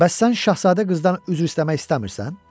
Bəs sən şahzadə qızdan üzr istəmək istəmirsən?